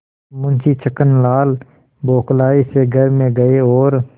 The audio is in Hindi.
मुंशी छक्कनलाल बौखलाये से घर में गये और